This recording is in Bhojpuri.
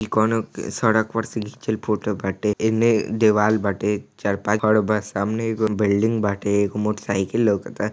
ई कोनों सड़क पर से घिचल फोटो बाटे एने देवाल बाटे चार पाँच घर बा सामने एगो बिल्डिंग बाटे एगो मोटर साइकिल लौकत ता--